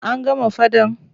An gama faɗan.